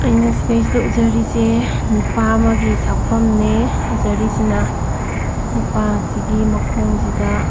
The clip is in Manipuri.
ꯑꯩꯅ ꯁꯤꯗꯩꯁꯤꯗ ꯎꯖꯔꯤꯁꯤ ꯅꯨꯄꯥ ꯑꯃꯒꯤ ꯁꯛꯐꯝꯅꯦ ꯎꯖꯔꯤꯁꯤꯅ ꯅꯨꯄꯥꯁꯤꯒꯤ ꯃꯈꯣꯡꯁꯤꯗ --